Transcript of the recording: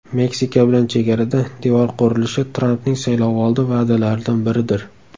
Meksika bilan chegarada devor qurilishi Trampning saylovoldi va’dalaridan biridir.